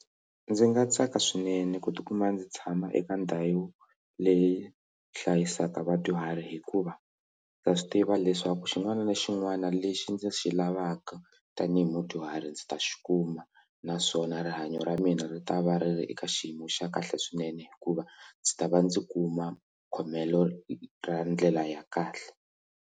Ndzi nga tsaka swinene ku tikuma ndzi tshama eka ndhawu leyi hlayisaka vadyuhari hikuva ndza swi tiva leswaku xin'wana na xin'wana lexi ndzi xi lavaka tanihi mudyuhari ndzi ta xi kuma naswona rihanyo ra mina ri ta va ri ri eka xiyimo xa kahle swinene hikuva ndzi ta va ndzi kuma khomelo ra ndlela ya kahle.